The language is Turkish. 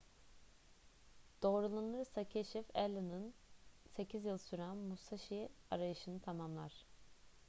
doğrulanırsa keşif allen'ın sekiz yıl süren musashi arayışını tamamlar